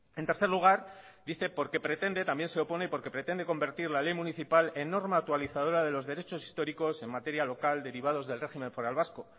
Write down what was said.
en tercer lugar dice porque pretende también se opone porque pretende convertir la ley municipal en norma actualizadora de los derechos históricos en materia local derivados del régimen foral vasco